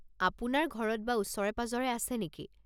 আপোনাৰ ঘৰত বা ওচৰে-পাঁজৰে আছে নেকি?